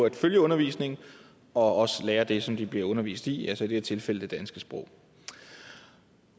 at følge undervisningen og også lære det som de bliver undervist i altså i det her tilfælde det danske sprog